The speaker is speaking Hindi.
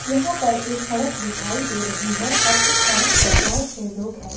यहां पर एक सड़क दिखाई दे रही है और उस सड़क पर बहुत से लोग हैं।